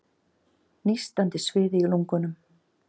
Nístandi sviði í lungunum.